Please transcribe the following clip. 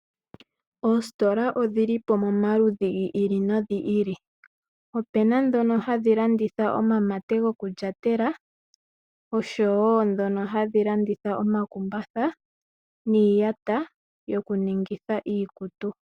Oositola odhili po omaludhi gi ili nogi ili. Opuna ndhoka hadhi landitha omamate gokulyatela oshowo ndhono hadhi landitha omakumbatha niiyata yokuningitha iikutu.